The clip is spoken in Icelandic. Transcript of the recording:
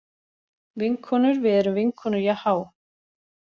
Vinkonur við erum vinkonur jahá.